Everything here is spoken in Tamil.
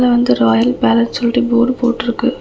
இதுல வந்து ராயல் பேலஸ் சொல்ட்டு போர்டு போட்ருக்கு.